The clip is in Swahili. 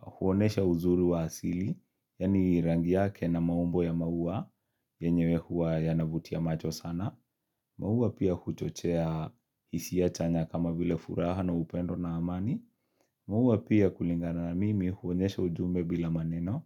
huonesha uzuri wa asili, yaani rangi yake na maumbo ya maua, yenyewe huwa yanavutia macho sana. Maua pia huchochea hisia chanya kama vile furaha na upendo na amani. Maua pia kulingana na mimi huonesha ujumbe bila maneno,